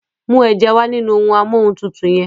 mú eja wá nínú Amóhuntutù yén.